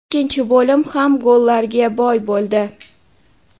Ikkinchi bo‘lim ham gollarga boy bo‘ldi.